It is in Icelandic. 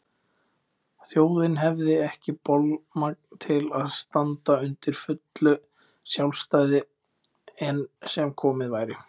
Þjóðin hefði ekki bolmagn til að standa undir fullu sjálfstæði enn sem komið væri.